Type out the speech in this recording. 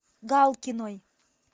галкиной